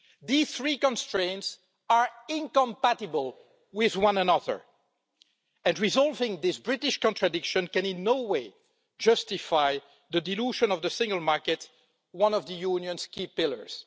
These three constraints are incompatible with one another, and resolving this British contradiction can in no way justify the dilution of the single market, one of the Union's key pillars.